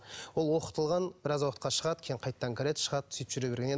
ол оқытылған біраз уақытқа шығады кейін қайтадан кіреді шығады сөйтіп жүре берген